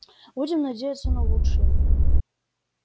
будем надеяться на лучшее